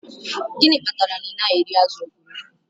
Gịnị kpatara na ị naghị eri azụ̀ okporoko